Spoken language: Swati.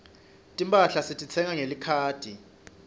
timphahla sititsenga ngelikhadi